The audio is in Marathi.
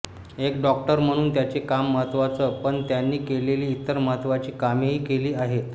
एक डॉक्टर म्हणून त्यांचे काम महत्त्वाचं पण त्यांनी केलेली इतर महत्त्वाची कामेही केली आहेत